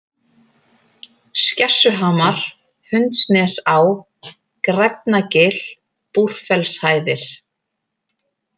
Skessuhamar, Hundsnesá, Græfnagil, Búrfellshæðir